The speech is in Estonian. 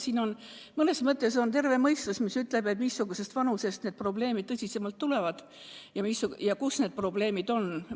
Siin ütleb terve mõistus, missugusest vanusest need probleemid tõsisemalt tekkivad ja mis need probleemid on.